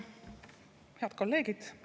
Head kolleegid!